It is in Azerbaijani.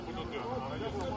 Gəlin burda.